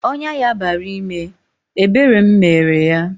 Ọnyá ya bara ime, ebere m mere yá